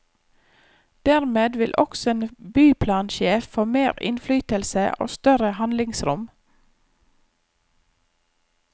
Dermed vil også en byplansjef få mer innflytelse og større handlingsrom.